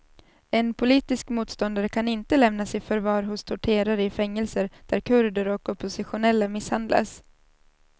En politisk motståndare kan inte lämnas i förvar hos torterare i fängelser där kurder och oppositionella misshandlas.